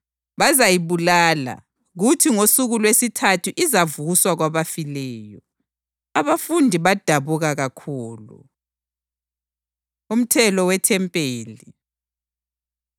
Bazayibulala, kuthi ngosuku lwesithathu izavuswa kwabafileyo.” Abafundi badabuka kakhulu. Umthelo WeThempeli